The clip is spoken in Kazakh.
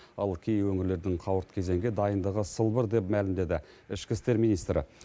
ал кей өңірлердің қауырт кезеңге дайындығы сылбыр деп мәлімдеді ішкі істер министрі